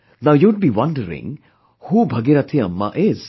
Now you would be wondering, who Bhagirathi Amma is